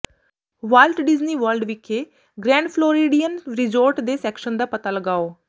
wallet Disney World ਵਿਖੇ Grand Floridian Resort ਦੇ section ਦਾ ਪਤਾ ਲਗਾਓ